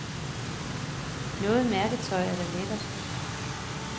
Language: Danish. Noget mærketøj er da lækkert.